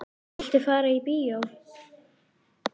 Viltu fara í bíó?